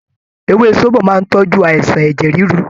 Ewé sóbò máà ń tọ́jú àìsàn ẹ̀jẹ̀ ríru